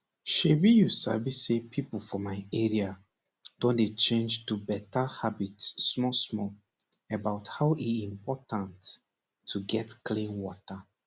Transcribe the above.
shebi you sabi say pipo for my area don dey change to better habit small small about how e important to get clean water